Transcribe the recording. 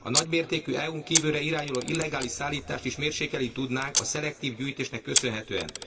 A nagymértékű EU n kívülre irányuló illegális szállítást is mérsékelni tudnánk a szelektív gyűjtésnek köszönhetően.